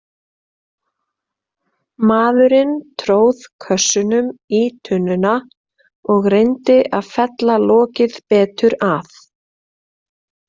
Maðurinn tróð kössunum í tunnuna og reyndi að fella lokið betur að.